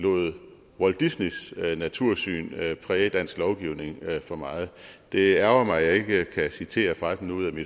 lod walt disneys natursyn præge dansk lovgivning for meget det ærgrer mig at jeg ikke kan citere fra den ud af